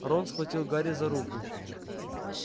рон схватил гарри за руку